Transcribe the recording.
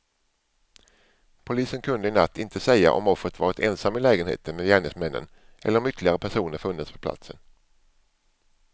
Polisen kunde i natt inte säga om offret varit ensam i lägenheten med gärningsmännen eller om ytterligare personer funnits på platsen.